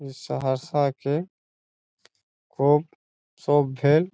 ई सहरसा के खूब सब भेल।